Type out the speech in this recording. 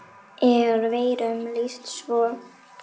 er veirum lýst svo